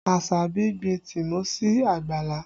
Asabi gbin tìmọ́ sí àgbàlá